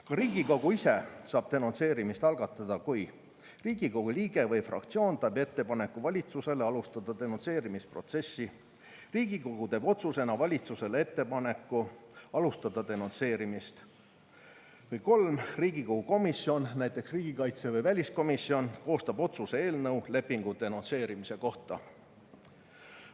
Ka Riigikogu ise saab denonsseerimist algatada, kui 1) Riigikogu liige või fraktsioon teeb valitsusele ettepaneku alustada denonsseerimisprotsessi; 2) Riigikogu teeb otsusena valitsusele ettepaneku alustada denonsseerimist; 3) Riigikogu komisjon, näiteks riigikaitse- või väliskomisjon, koostab otsuse eelnõu lepingu denonsseerimise kohta.